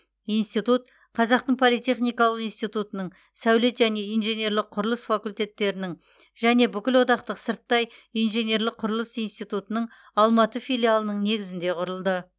институт қазақтың политехникалық институтының сәулет және инженерлік құрылыс факультеттерінің және бүкілодақтық сырттай инженерлік құрылыс институтының алматы филиалының негізінде құрылды